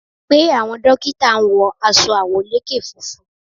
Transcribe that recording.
Pe, àwọn dókítà ń wọ aṣọ àwọ̀lékè funfun.